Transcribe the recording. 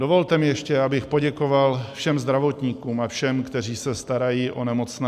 Dovolte mi ještě, abych poděkoval všem zdravotníkům a všem, kteří se starají o nemocné.